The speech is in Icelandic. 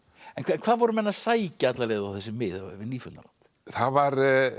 hvað voru menn að sækja á þessi mið við Nýfundnaland það var